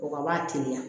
O ka b'a teliya